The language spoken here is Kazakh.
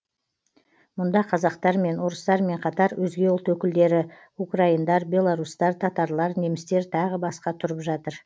мұнда қазақтармен орыстармен қатар өзге ұлт өкілдері украиндар белорустар татарлар немістер тағы басқа тұрып жатыр